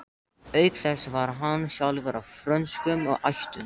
Auk þess var hann sjálfur af frönskum ættum.